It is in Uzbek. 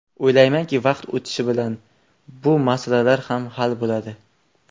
O‘ylaymanki, vaqt o‘tishi bilan bu masalalar ham hal bo‘ladi.